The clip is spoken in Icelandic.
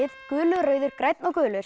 gulur rauður grænn og gulur